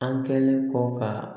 An kɛlen kɔ ka